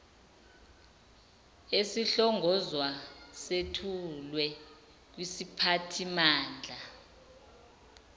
esihlongozwayo sethulwe kwisiphathimandla